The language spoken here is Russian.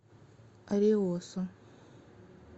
ариосо